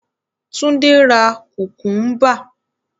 Túndé ra kùkúńbà.